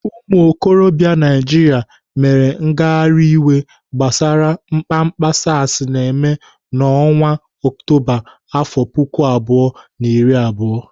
Ụmụokorobịa Naijiria mere ngagharị iwe gbasara mkpamkpa SARs na-eme n'ọnwa Ọktoba, afọ puku abụọ na iri abụọ.